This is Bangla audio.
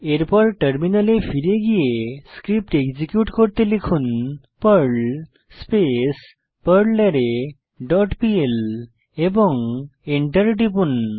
এরপর টার্মিনালে ফিরে গিয়ে স্ক্রিপ্ট এক্সিকিউট করুন পার্ল স্পেস পারলারে ডট পিএল এবং Enter টিপুন